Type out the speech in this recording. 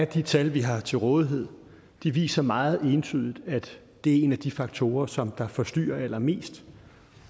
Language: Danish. de tal vi har til rådighed viser meget entydigt at det er en af de faktorer som forstyrrer allermest